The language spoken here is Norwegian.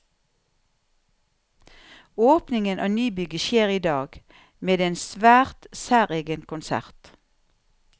Åpningen av nybygget skjer i dag, med en svært særegen konsert.